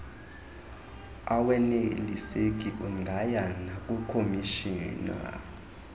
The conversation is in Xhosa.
aweneliseki ungaya nakukhomishina